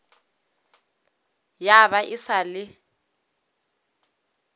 ya ba e sa le